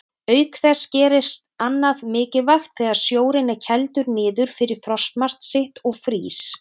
Auk þess gerist annað mikilvægt þegar sjórinn er kældur niður fyrir frostmark sitt og frýs.